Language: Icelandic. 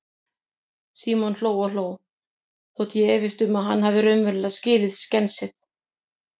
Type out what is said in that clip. Símon hló og hló, þótt ég efist um að hann hafi raunverulega skilið skensið.